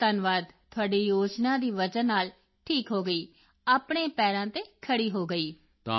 ਬਹੁਤ ਧੰਨਵਾਦ ਤੁਹਾਡੀ ਯੋਜਨਾ ਦੀ ਵਜ੍ਹਾ ਨਾਲ ਠੀਕ ਹੋ ਗਈ ਆਪਣੇ ਪੈਰਾਂ ਤੇ ਖੜ੍ਹੀ ਹੋ ਗਈ